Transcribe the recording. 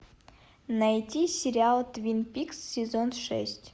найти сериал твин пикс сезон шесть